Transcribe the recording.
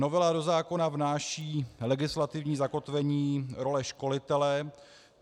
Novela do zákona vnáší legislativní zakotvení role školitele.